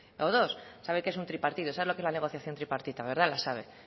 o dos sabe que es un tripartido sabe lo que es la negociación tripartita verdad la sabe